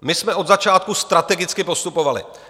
My jsme od začátku strategicky postupovali.